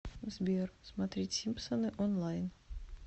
сбер смотреть симпсоны онлайн